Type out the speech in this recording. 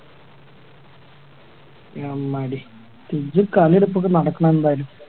നന്നായി കളിയെടുപ്പോക്കെ നടക്കണം എന്തായാലും